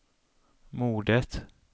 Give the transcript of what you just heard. mordet